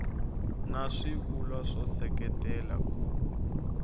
na swivulwa swo seketela ku